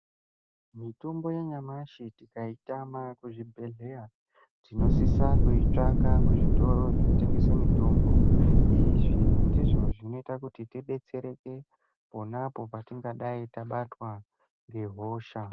Mitombo yanyamashi tikaitama kuzvibhehleya tinosisa kuitsvaka kuzvitoro zvinotengesa mitombo izvi ndizvo zvinoita kuti tidetsereke ponapo patingadai tabatwa ngehosha.